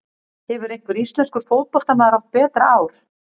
Hefur einhver íslenskur fótboltamaður átt betra ár?